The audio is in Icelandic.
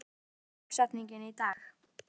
Alanta, hver er dagsetningin í dag?